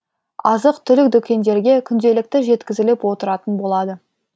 азық түлік дүкендерге күнделікті жеткізіліп отыратын болады